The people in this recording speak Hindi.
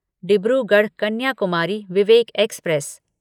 डिब्रूगढ़ कन्याकुमारी विवेक एक्सप्रेस